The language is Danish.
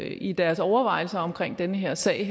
i deres overvejelser omkring den her sag